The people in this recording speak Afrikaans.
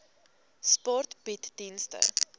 sport bied dienste